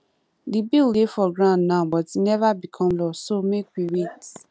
the bill dey for ground now but e never become law so make we wait